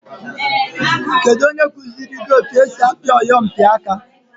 Kedu onye kụziri etu esi apị oyompịaka?